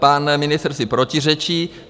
Pan ministr si protiřečí.